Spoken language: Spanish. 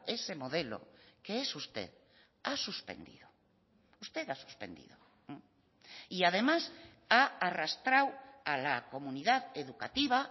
ese modelo que es usted ha suspendido usted ha suspendido y además ha arrastrado a la comunidad educativa